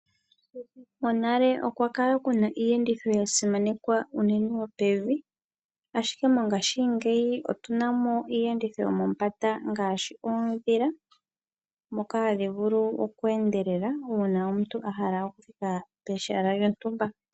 Monale okwa kala kuna iiyenditho yasimanekwa unene yopevi , ashike mongashingey otuna mo iiyenditho o yomombanda ngaashi oodhila dhoka hadhi vulu okweendelela uuna omuntu ahala okuya pehala lyontumba .